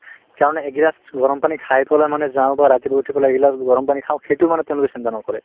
কাৰণে একগিলাচ গৰম পানী খাই পেলাই মানে যাওঁ বা ৰাতিপুৱা উঠি পেলাই এগিলাচ গৰম পানী খাওঁ সেইটোও মানে তেওঁলোকে চিন্তা নকৰে